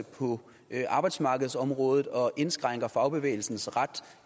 på arbejdsmarkedsområdet og indskrænker fagbevægelsens ret